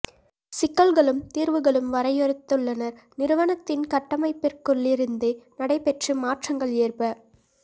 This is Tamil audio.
சிக்கல்களும் தீர்வுகளும் வரையறுத்துள்ளனர் நிறுவனத்தின் கட்டமைப்பிற்குள்ளிருந்தே நடைபெற்று மாற்றங்கள் ஏற்ப